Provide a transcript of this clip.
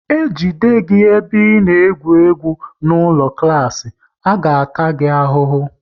E jide gị ebe ị na-egwu egwu n'ụlọ klas, a ga ta gị ahụhụ!